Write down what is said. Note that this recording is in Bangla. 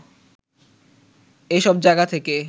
এসব জায়গা থেকে